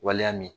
Waleya min